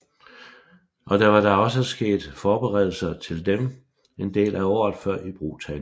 Og der var da også sket forberedelser til dem en del år før ibrugtagningen